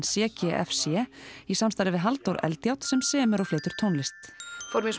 c g f c í samstarfi við Halldór Eldjárn sem semur og flytur tónlist við